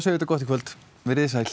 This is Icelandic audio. þetta gott í kvöld veriði sæl